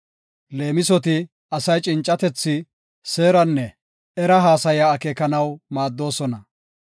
Leemisoti asay cincatethi, seeranne era haasaya akeekanaw maaddoosona.